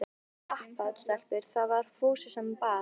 Komið þið í kappát stelpur? það var Fúsi sem bað.